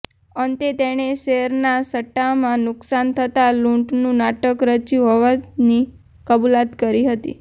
અંતે તેને શેરના સટ્ટામાં નુકસાન થતાં લૂંટનું નાટક રચ્યું હોવાની કબુલાત કરી હતી